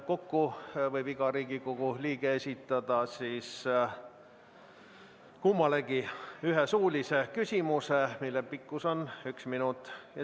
Kokku võib iga Riigikogu liige esitada kummalegi ühe suulise küsimuse, mille pikkus on üks minut.